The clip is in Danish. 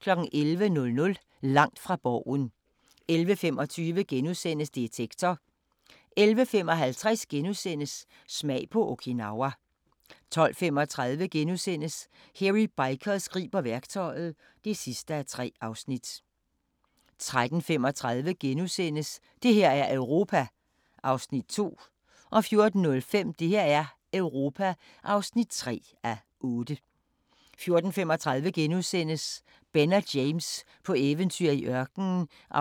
11:00: Langt fra Borgen 11:25: Detektor * 11:55: Smag på Okinawa * 12:35: Hairy Bikers griber værktøjet (3:3)* 13:35: Det her er Europa (2:8)* 14:05: Det her er Europa (3:8) 14:35: Ben og James på eventyr i ørkenen (2:3)*